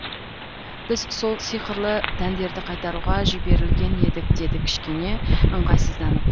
біз сол сиқырлы дәндерді қайтаруға жіберілген едік деді кішкене ыңғайсызданып